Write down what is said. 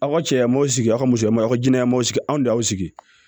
Aw ka cɛ maw sigi aw ka musomaninw sigi anw de y'aw sigi